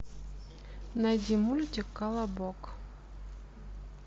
найди мультик колобок